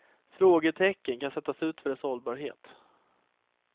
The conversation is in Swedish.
Frågetecken kan sättas för dess hållbarhet.